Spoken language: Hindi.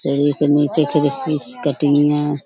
नीचे है।